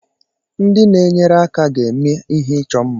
Ndị na-enyere aka ga-eme ihe ịchọ mma.